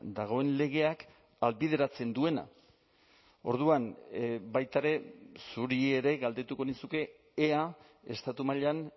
dagoen legeak ahalbideratzen duena orduan baita ere zuri ere galdetuko nizuke ea estatu mailan